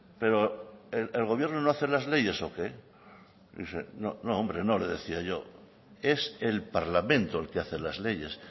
pero el gobierno no hace las leyes o qué no hombre no le decía yo es el parlamento el que hace las leyes